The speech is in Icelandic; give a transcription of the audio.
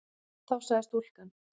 Þá sagði stúlkan